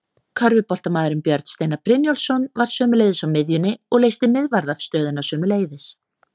Körfuboltamaðurinn Björn Steinar Brynjólfsson var sömuleiðis á miðjunni og leysti miðvarðarstöðuna sömuleiðis.